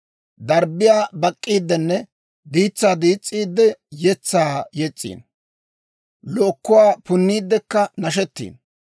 Darbbiyaa bak'k'iiddenne diitsaa diis's'iidde, yetsaa yes's'iino; lookkuwaa punniiddekka nashettiino.